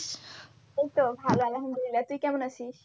এইতো ভালো আলহামদুলিল্লা, তুই কেমন আসিস?